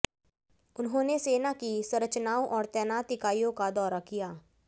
उन्होंने सेना की संरचनाओं और तैनात इकाइयों का दौरा किया